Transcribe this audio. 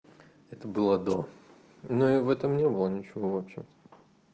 это было до но я в этом не было ничего вообще